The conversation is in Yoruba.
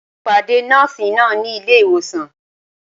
Mo pàdé Nọ́ọ̀sì náà ní ilé ìwòsàn